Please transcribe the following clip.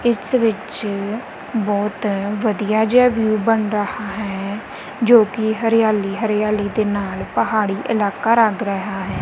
ਇਸ ਵਿੱਚ ਬਹੁਤ ਵਧੀਆ ਜਿਹਾ ਵਿਊ ਬਣ ਰਹਾ ਹੈ ਜੋ ਕਿ ਹਰਿਆਲੀ ਹਰਿਆਲੀ ਦੇ ਨਾਲ ਪਹਾੜੀ ਇਲਾਕਾ ਲੱਗ ਰਿਹਾ ਹੈ।